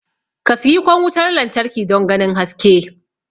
ka siyi kwan wutar lantarki don ganin haske